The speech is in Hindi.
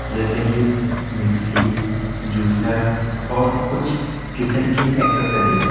जैसी कि मिक्सी जूसर और कुछ किचेन की एक्सेसरीज ।